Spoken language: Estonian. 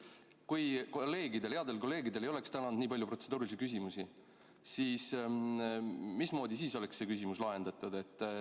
Kui kolleegidel, headel kolleegidel ei oleks täna olnud nii palju protseduurilisi küsimusi, mismoodi siis see küsimus oleks lahendatud?